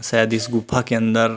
शायद इस गुफा के अंदर --